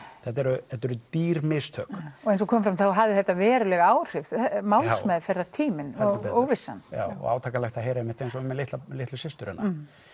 þetta eru þetta eru dýr mistök og eins og kom fram þá hafði þetta veruleg áhrif málsmeðferðartíminn og óvissan sindri já og átakanlegt að heyra einmitt eins og með litlu litlu systur hennar